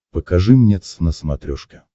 покажи мне твз на смотрешке